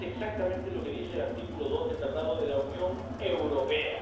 Y eso es exactamente lo que dice el artículo 2 del Tratado de la Unión Europea.